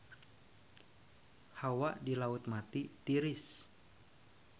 Hawa di Laut Mati tiris